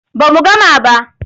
Ba mu gama ba.